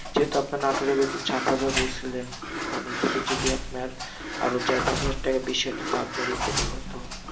যেহেতু আপনার নাটোরের বেতন সাত হাজার বলছিলেন এখন কিছু যদি আপনার আরো চার পাঁচ হাজার টাকা বেশি হয় তো আপনারই উপকার হত।